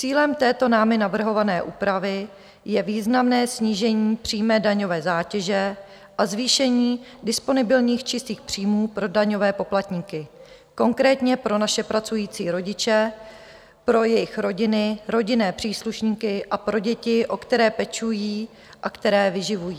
Cílem této námi navrhované úpravy je významné snížení přímé daňové zátěže a zvýšení disponibilních čistých příjmů pro daňové poplatníky, konkrétně pro naše pracující rodiče, pro jejich rodiny, rodinné příslušníky a pro děti, o které pečují a které vyživují.